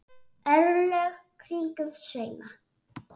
örlög kringum sveima